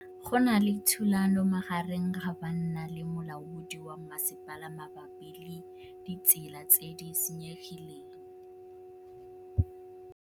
Go na le thulanô magareng ga banna le molaodi wa masepala mabapi le ditsela tse di senyegileng.